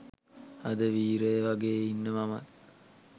අද වීරය වගේ ඉන්න මමත්